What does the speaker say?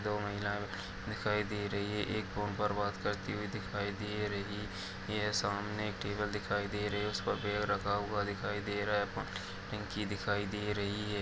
दो महिला दिखाई दे रही है एक फोन पर बात करती हुई दिखाई दे रही है यह सामने एक टेबल दिखाई दे रही है उसे पर बैग रखा हुआ दिखाई दे रहा है दिखाई दे रही है।